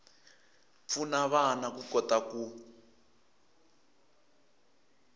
pfuna vana ku kota ku